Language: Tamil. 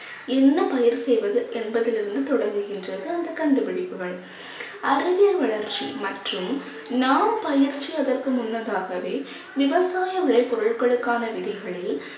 என்ன பயிர் செய்வது என்பதிலிருந்து தொடங்குகின்றது அந்த கண்டுபிடிப்புகள். அறிவியல் வளர்ச்சி மற்றும் நாம் பயிற்சி அதற்கு முன்னதாகவே விவசாய விலை பொருட்களுக்கான விதிகளில்